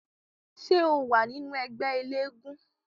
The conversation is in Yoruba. Ṣé ó wà nínú ẹgbẹ́ eléégún?